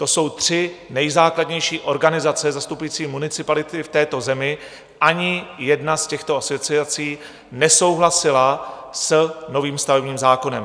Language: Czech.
To jsou tři nejzákladnější organizace zastupující municipality v této zemi, ani jedna z těchto asociací nesouhlasila s novým stavebním zákonem.